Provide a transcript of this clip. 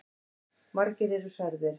Margir eru særðir.